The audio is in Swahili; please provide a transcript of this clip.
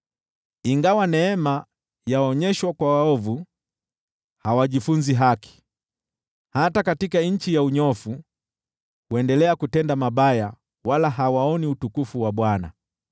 Ingawa neema yaonyeshwa kwa waovu, hawajifunzi haki, hata katika nchi ya unyofu huendelea kutenda mabaya wala hawazingatii utukufu wa Bwana .